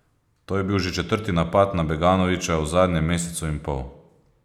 To je bil že četrti napad na Beganovića v zadnjem mesecu in pol.